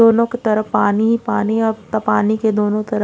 दोनों की तरह पानी ही पानी अब तक पानी के दोनों तरफ --